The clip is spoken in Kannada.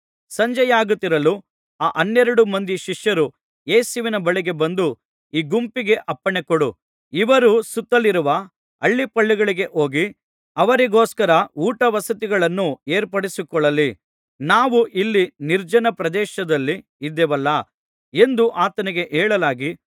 ಸಂಜೆಯಾಗುತ್ತಿರಲು ಆ ಹನ್ನೆರಡು ಮಂದಿ ಶಿಷ್ಯರು ಯೇಸುವಿನ ಬಳಿಗೆ ಬಂದು ಈ ಗುಂಪಿಗೆ ಅಪ್ಪಣೆಕೊಡು ಇವರು ಸುತ್ತಲಿರುವ ಹಳ್ಳಿಪಳ್ಳಿಗಳಿಗೆ ಹೋಗಿ ಅವರಿಗೋಸ್ಕರ ಊಟವಸತಿಗಳನ್ನು ಏರ್ಪಡಿಸಿಕೊಳ್ಳಲಿ ನಾವು ಇಲ್ಲಿ ನಿರ್ಜನ ಪ್ರದೇಶದಲ್ಲಿ ಇದ್ದೇವಲ್ಲಾ ಎಂದು ಆತನಿಗೆ ಹೇಳಲಾಗಿ